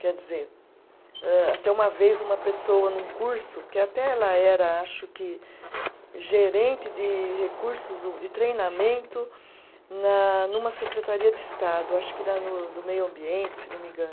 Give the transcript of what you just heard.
Quer dizer, âh até uma vez uma pessoa num curso, que até ela era, acho que, gerente de recursos o, de treinamento, na numa secretaria de Estado, acho que da no, do meio ambiente, se não me engano.